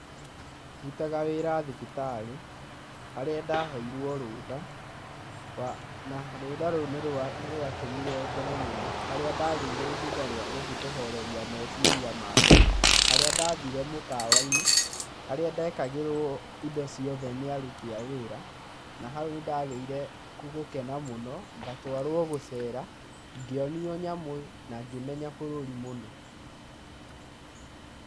Ndutaga wĩra thibitarĩ harĩa ndaheirwo rũtha, na rũtha rũrũ nĩ rwatũmire ngene mũno. Harĩa ndagĩire ihinda rĩa gũthiĩ kũhoreria meciria makwa harĩa ndathire mũkawa-inĩ, harĩa ndekagĩrwo indo ciothe nĩ aruti a wĩra. Na hau nĩ ndagĩire gũkena mũno ngatwaro gũcera, ngĩonio nyamũ na ngĩmenya bũrũri mũno.